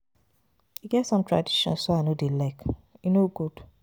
E get some traditions wey I no no dey like. E no good.